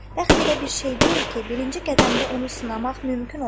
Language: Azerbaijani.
Bəxt elə bir şey deyil ki, birinci qədəmdə onu sınamaq mümkün olsun.